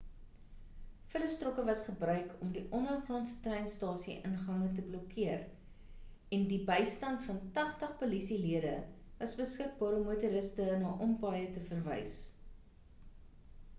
vullistrokke was gebruik om ondergrondse treinstasie ingange te blokkeer en die bystand van 80 polisie lede was beskikbaar om motoriste na ompaaie te verwys